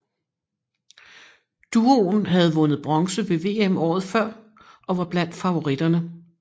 Duoen havde vundet bronze ved VM året før og var blandt favoritterne